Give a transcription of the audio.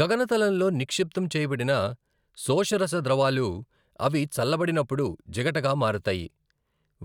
గగనతలంలో నిక్షిప్తం చేయబడిన శోషరస ద్రవాలు అవి చల్లబడినప్పుడు జిగటగా మారతాయి,